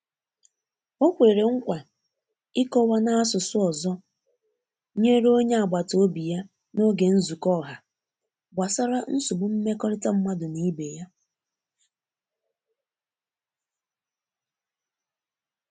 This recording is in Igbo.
o kwere nkwa ikowa n'asụsụ ozo nyere onye agbata obi ya n'oge nzuko ọha gbasara nsogbu mmekọrita madụ n'ibe ya.